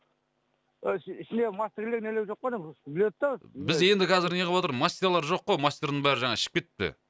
а ішінде мастерлер нелер жоқ па не біледі да біз енді қазір неғыватыр мастералар жоқ қой мастердың бәрі жаңағы ішіп кетіпті